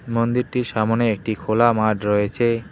মন্দিরটির সামোনে একটি খোলা মাঠ রয়েছে।